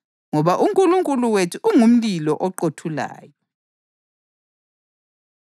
ngoba “uNkulunkulu wethu ungumlilo oqothulayo.” + 12.29 UDutheronomi 4.24